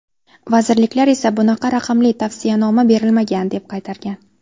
Vazirliklar esa bunaqa raqamli tavsiyanoma berilmagan, deb qaytargan.